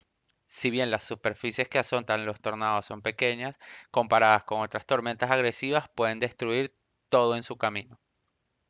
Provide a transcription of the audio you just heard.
si bien las superficies que azotan los tornados son pequeñas comparadas con otras tormentas agresivas pueden destruir todo en su camino